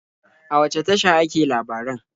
A wace tasha ake labaran?